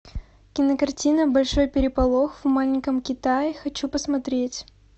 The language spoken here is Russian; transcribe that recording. кинокартина большой переполох в маленьком китае хочу посмотреть